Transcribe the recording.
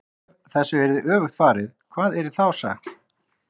EF þessu væri öfugt farið, hvað yrði þá sagt?